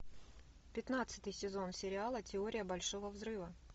пятнадцатый сезон сериала теория большого взрыва